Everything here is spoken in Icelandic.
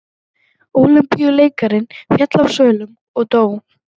Ólympíumeistarinn féll af svölum og dó